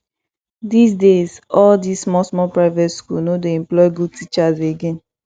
dis days all this small small private schools no dey employ good teachers again